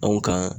Anw kan